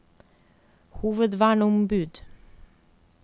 hovedverneombud